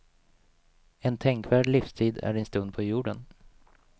En tänkvärd livstid är din stund på jorden.